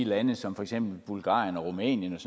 lande som bulgarien og rumænien og